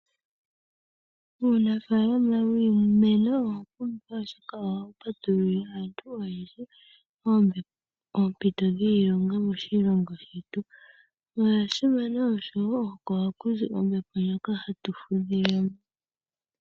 Uunafaalama wiimeno owapumbwa oshoka owo wa patululile aantu oyendji oompito dhiilonga moshilongo shetu. Owa simana oshowo oko haku zi ombepo ndjoka hatu fudha.